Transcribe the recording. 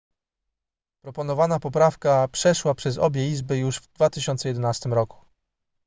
proponowana poprawka przeszła przez obie izby już w 2011 roku